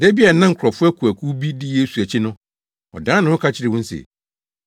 Da bi a na nkurɔfo akuwakuw bi di Yesu akyi no, ɔdan ne ho ka kyerɛɛ wɔn se,